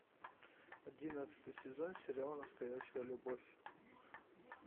одиннадцатый сезон сериал настоящая любовь